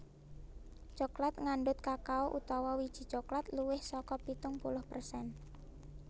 Coklat ngandhut kakao utawa wiji coklat luwih saka pitung puluh persen